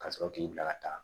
Ka sɔrɔ k'i bila ka taa